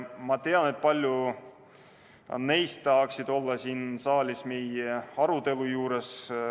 Ma tean, et paljud neist tahaksid olla siin saalis meie arutelus osalemas.